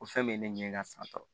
Ko fɛn bɛ ne ɲɛ ka san tan